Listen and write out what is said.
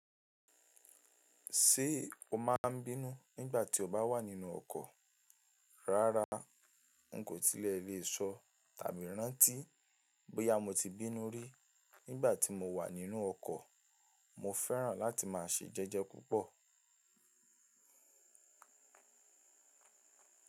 Ṣé o máa ń bínú nígbà tí o bá wà nínú ọkọ̀? Rárá, n kò tilẹ̀ lè sọ tàbí rántí bóyá mo ti bínú rí nígbà tí mo wà nínú ọkọ̀. Mo fẹ́ràn láti máa ṣe jẹ́jẹ́ púpọ̀.